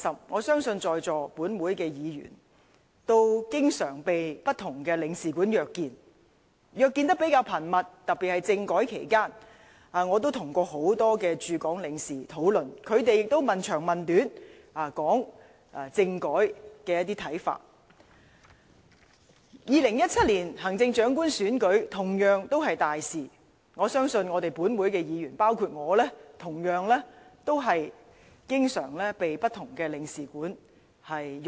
我相信在座的本會議員都經常被不同的領事館約見，特別是在政改期間，約見得比較頻密。2017年行政長官選舉同樣是一件大事，我相信本會議員都經常都被不同的領事館約見。